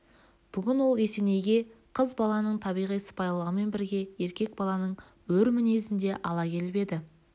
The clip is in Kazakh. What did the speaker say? бүгін ол есенейге қыз баланың табиғи сыпайылығымен бірге еркек баланың өр мінезін де ала келіп еді